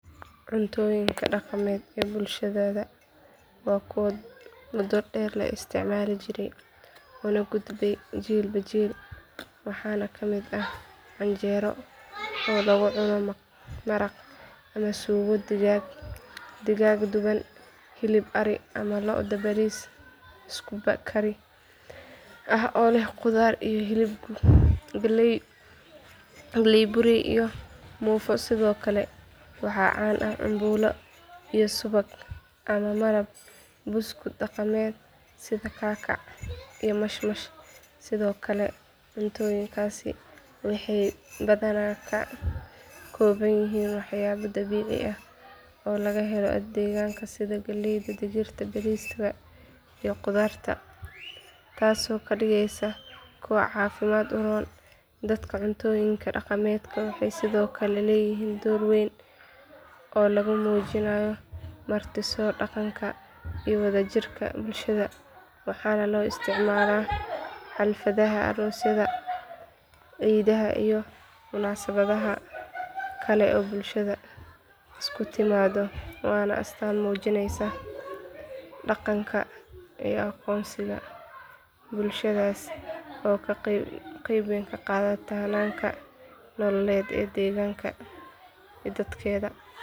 Cuntoyinka daqmed bulshadhadha wa kuwo muda dher llaistic Mali jire Oo laga gudbe chil ba chil waxana kamid ah canjero oo lugu cuno maraq sugo digag digag dhuban hilib ari ama loodha baris isku kariska ah Oo leh qudhar dabici iyo hilb galey iyo mufo sidhokale waxa can aah cambulo iyo subag iyo malab daqamed sidha kakac iyo mashmash sidhokale waxey kakoban yihin dabo dabici aah Oo laga helo deganka sidha galeydha digirta bariska iyo qudhartaso kadigeysa kuwa cafidka uroon